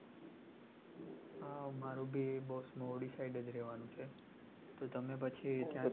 હમ મારું બસ ની ઓલી side જ રેહવાનું છે તો તમે પછી ત્યાંથી